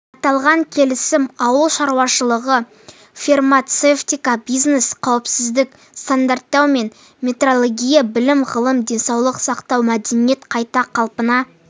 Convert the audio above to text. аталған келісім ауыл шаруашылығы фармацевтика бизнес қауіпсіздік стандарттау мен метрология білім-ғылым денсаулық сақтау мәдениет қайта қалпына